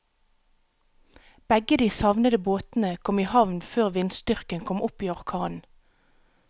Begge de savnede båtene kom i havn før vindstyrken kom opp i orkan.